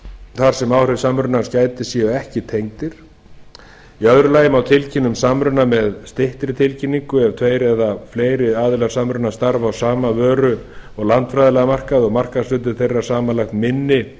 þar sem áhrifa samrunans gætir séu ekki tengdir í öðru lagi má tilkynna um samruna með styttri tilkynningu ef tveir eða fleiri aðilar samrunans starfa á sama vöru og landfræðilega markaði og markaðshlutdeild þeirra samanlagt minni